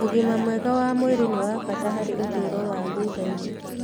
Ũgima mwega wa mwĩrĩ nĩ wa bata harĩ ũtũũro wa thutha-inĩ.